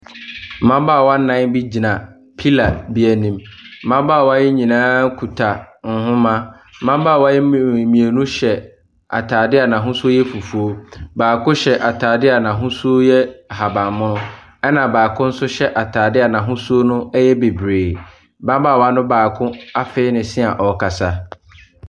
Mmabaawa nna bi gyina pillar bi anim. Mmabaawa yi nyinaa kuta nhoma. Mmabaawa yi mmi mmienu hyɛ atadeɛ a n'ahosuo yɛ fufuo. Baako hyɛ atadeɛ a n'ahosuo yɛ ahaban mono, ɛnna baako nso hyɛ atadeɛ a n'ahosuo yɛ bebree. Mmabaawa no baako afee ne se a ɔrekasa.